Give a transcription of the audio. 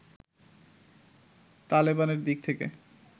তালেবানের দিক থেকে